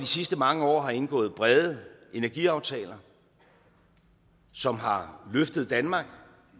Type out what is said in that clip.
sidste mange år har indgået brede energiaftaler som har løftet danmark